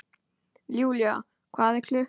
Julia, hvað er klukkan?